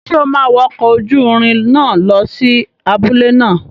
Ṣé o máa wọ ọkọ̀ ojúrin náà lọ sí abúlé náà?